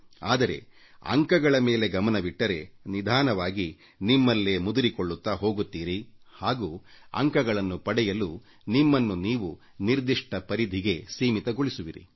ಆದರೆ ಅಂಕಗಳ ಮೇಲೆ ಗಮನವಿಟ್ಟರೆ ನಿಧಾನವಾಗಿ ನಿಮ್ಮಲ್ಲೇ ಮುದುರಿಕೊಳ್ಳುತ್ತಾ ಹೋಗುತ್ತೀರಿ ಹಾಗೂ ಅಂಕಗಳನ್ನು ಪಡೆಯಲು ನಿಮ್ಮನ್ನು ನೀವು ನಿರ್ದಿಷ್ಟ ಪರಿಧಿಗೆ ಸೀಮಿತಗೊಳಿಸುವಿರಿ